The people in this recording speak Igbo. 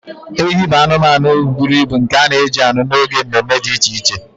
Ehi bụ anụmanụ buru ibu nke a na-eji anụ n'oge mme mme dị iche iche